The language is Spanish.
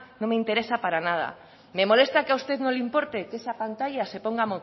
no me interesa para nada me molesta que a usted no le importe que esa pantalla se ponga